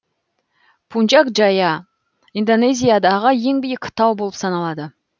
пунчак джая индонезиядағы ең биік тау болып саналады